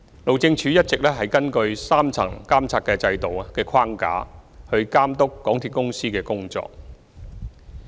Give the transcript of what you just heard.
路政署一直根據3層監察制度的框架，監督港鐵公司的工作。